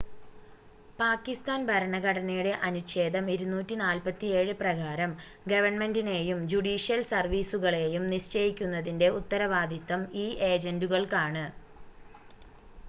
പാക്കിസ്ഥാൻ ഭരണഘടനയുടെ അനുച്ഛേദം 247 പ്രകാരം, ഗവൺമെന്റിനെയും ജുഡീഷ്യൽ സർവീസുകളെയും നിശ്ചയിക്കുന്നതിന്റെ ഉത്തരവാദിത്തം ഈ ഏജന്റുകൾക്കാണ്